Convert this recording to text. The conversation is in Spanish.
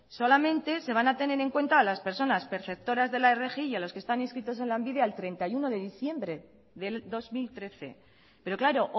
solamente se van a tener en cuenta las personas perceptoras de la rgi y a los que están inscritos en lanbide al treinta y uno de diciembre del dos mil trece pero claro